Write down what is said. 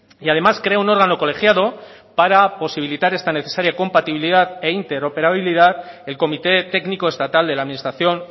y además crea un órgano colegiado para posibilitar esta necesaria compatibilidad e inter operablidad el comité técnico estatal de la administración